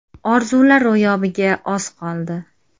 Orzular ro‘yobiga oz qoldi!